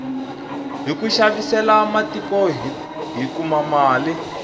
hiku xavisela matiko hi kuma mali